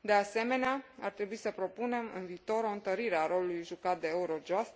De asemenea, ar trebui să propunem în viitor o întărire a rolului jucat de Eurojust